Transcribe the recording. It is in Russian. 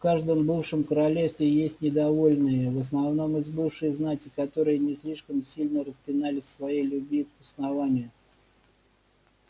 в каждом бывшем королевстве есть недовольные в основном из бывшей знати которые не слишком сильно распинались в своей любви к основанию